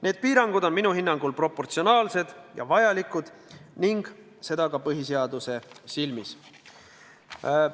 Need piirangud on minu hinnangul proportsionaalsed ja vajalikud ning seda ka põhiseaduse silmis.